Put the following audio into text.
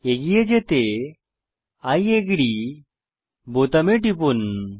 এগিয়ে যেতে I আগ্রী বোতামে টিপুন